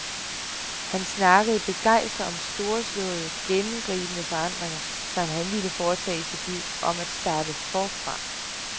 Han snakkede begejstret om storslåede, gennemgribende forandringer, som han ville foretage i sit liv, om at starte forfra.